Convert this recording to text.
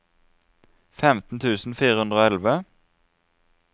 femten tusen fire hundre og elleve